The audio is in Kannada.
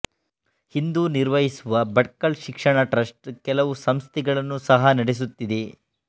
ಹಿಂದೂನಿರ್ವಹಿಸುವ ಭಟ್ಕಲ್ ಶಿಕ್ಷಣ ಟ್ರಸ್ಟ್ ಕೆಲವು ಸಂಸ್ಥೆಗಳನ್ನು ಸಹ ನಡೆಸುತ್ತಿದೆ